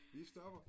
Vi stopper